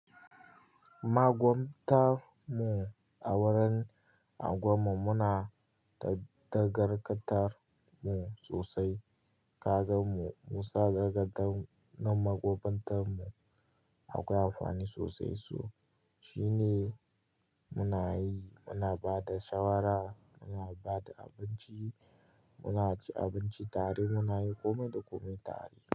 Magwabta mu a wurin a gwam mu muna da dagarkatar mu sosai. Kaga mu, mu sa dagarda na magwabtan mu akwai amfani sosai su. Shi ne muna yi, muna ba da shawara, muna ba da abinci, muna ci abinci tare, muna yi komai da komai tare.